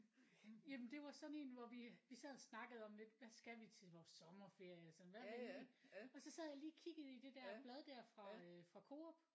Jamen det var sådan én hvor vi vi sad og snakkede om lidt hvad skal vi til vores sommerferie og sådan hvad har vi lige og så sad jeg lige og kiggede i det der blad der fra øh fra Coop